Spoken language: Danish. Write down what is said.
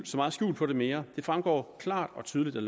så meget skjul på det mere det fremgår klart og tydeligt af